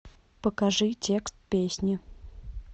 покажи текст песни